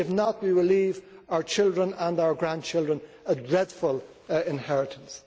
If not, we will leave our children and our grandchildren a dreadful inheritance.